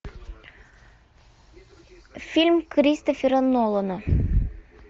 фильм кристофера нолана